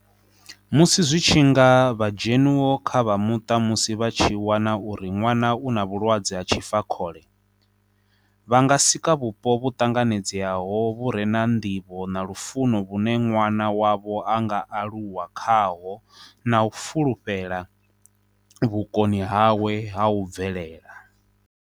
Musi zwi tshi nga vha dzhenuwo kha vha muṱa musi vha tshi wana uri ṅwana u na vhulwadze ha tshifakhole, vha nga sika vhupo vhu ṱanganedzaho vhu re na nḓivho na lufuno vhune ṅwana wavho a nga aluwa khaho na u fulufhela vhukoni hawe ha u bvelela.